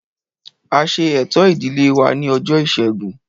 A ṣe ẹ̀tọ́ ìdílé wa ní ọjọ́ ìṣẹ́gun